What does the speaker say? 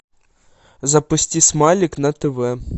запусти смайлик на тв